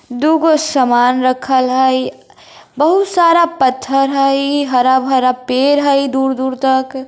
दूगो सामान रखल हई बहुत सारा पत्थर हई हरा भरा पेड़ हई दूर दूर तक --